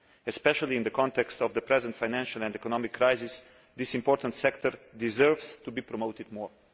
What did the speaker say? Especially in the context of the present financial and economic crisis, this important sector deserves to be promoted more.